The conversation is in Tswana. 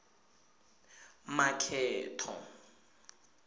makgetho